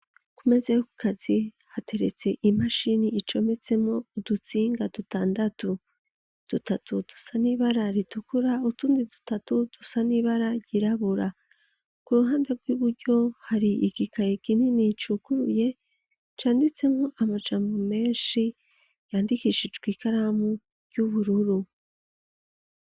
Kumeze yo kukazi hateretse imashini icometsemo udutsinga dutandatu dutatu dusa n'ibara ritukura utundi dutatu dusa n'ibara ryirabura ku ruhande rw'iburyo hari igikaye ginini icukuruye canditsemo amajambo menshi yandikishijwe karamu ry'ubururu.